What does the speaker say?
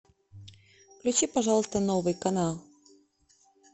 включи пожалуйста новый канал